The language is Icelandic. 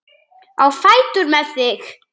Á fætur með þig!